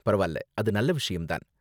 பரவால்ல, அது நல்ல விஷயம் தான்